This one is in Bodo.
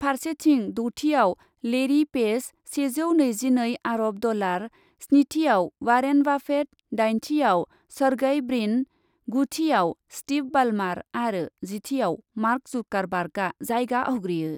फारसेतिं दथियाव लेरि पेज सेजौ नैजिनै आर'ब डलार , स्निथियाव वारेन बाफेट, दाइनथियाव सर्गेइ ब्रिन, गुथियाव स्टिभ बाल्मार आरो जिथियाव मार्क जुकार बार्गआ जायगा आवग्रियो।